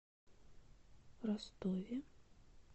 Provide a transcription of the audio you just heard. ростове